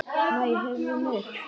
Nei, heyrðu mig.